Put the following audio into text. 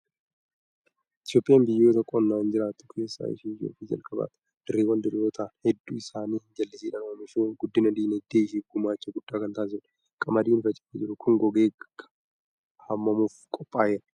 Itoophiyaan biyyoota qonnaan jiraattu keessaa ishee ijoo fi jalqabaati. Dirreewwan diriiroo ta'an hedduu isaanii jallisiidhaan oomishuun guddina dinagdee isheef gumaacha guddaa kan taasistudha. Qamadiin faca'ee jiru kun, gogee haamamuuf qophaa'eera.